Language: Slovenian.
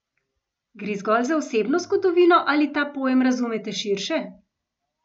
Gre zgolj za osebno zgodovino ali ta pojem razumete širše?